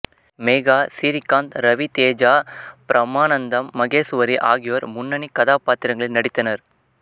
மேகா சிறீகாந் ரவி தேஜா பிரமானந்தம் மகேசுவரி ஆகியோர் முன்னணி கதாபாத்திரங்களில் நடித்தனர்